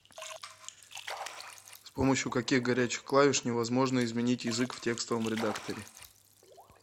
с помощью каких горячих клавиш невозможно изменить язык в текстовом редакторе